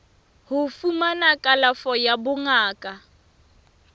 ho fumana kalafo ya bongaka